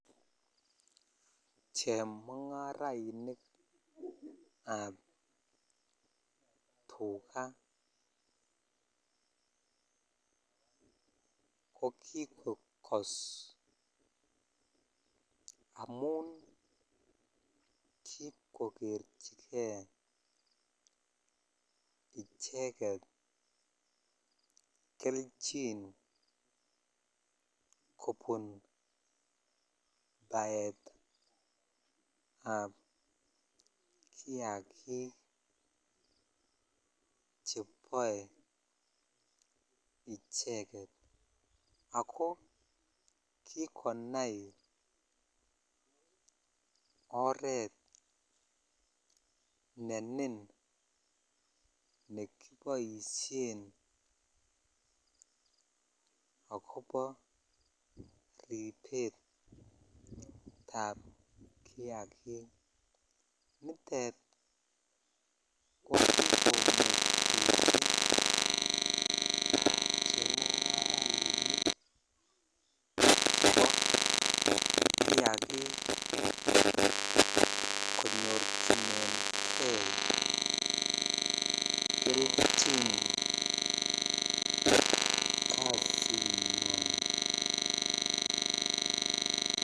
Chemungarainik ab tukaa ko kikokos amun akikokerchikei icheket kelchin kobun baetab kiagik cheboe icheket ako kikonai oret ne nin nekiboishen akobo ribetab kiagik nitet kikosuldechi chemungarainik chebo kiagik konyorchinenkei kelchin kasinywan.